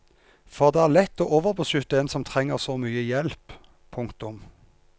For det er lett å overbeskytte en som trenger så mye hjelp. punktum